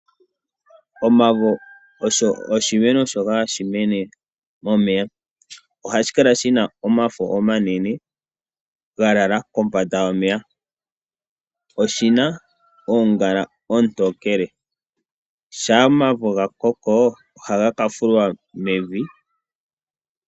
Omavo osho oshimeno shoka hashi mene momeya ,ohashi kala shina omafo omanene ga lala kombanda yomeya, oshina oongala oontokele, shampa omavo ga koko ohaga ka fulwa mevi.